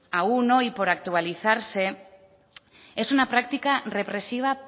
aun hoy por actualizarse es una práctica represiva